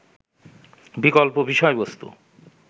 বিকল্প বিষয়বস্তু